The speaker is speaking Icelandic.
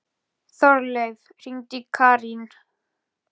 Þorleif, hringdu í Karín.